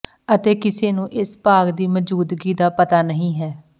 ਅਤੇ ਕਿਸੇ ਨੂੰ ਇਸ ਭਾਗ ਦੀ ਮੌਜੂਦਗੀ ਦਾ ਪਤਾ ਨਹੀ ਹੈ